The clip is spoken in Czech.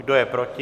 Kdo je proti?